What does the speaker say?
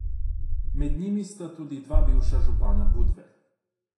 Med njimi sta tudi dva bivša župana Budve.